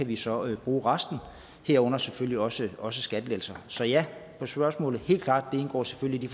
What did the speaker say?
vi så kan bruge resten herunder selvfølgelig også også skattelettelser så ja til spørgsmålet helt klart det indgår selvfølgelig